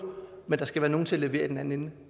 men der skal være nogle til at levere i den anden ende